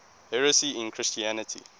heresy in christianity